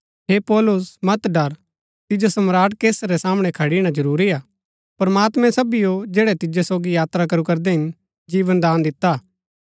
हे पौलुस मत डर तिजो सम्राट कैसर रै सामणै खड़ीणा जरूरीआ प्रमात्मैं सबीओ जैड़ै तिजो सोगी यात्रा करू करदै हिन जीवनदान दिता हा